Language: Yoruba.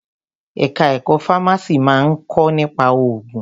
Ẹ̀ka ẹ̀kọ́ fámásì máa ń kọ́ nípa òògùn.